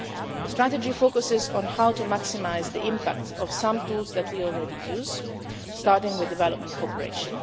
The strategy focuses on how to maximise the impact of some tools that we already use, starting with development cooperation.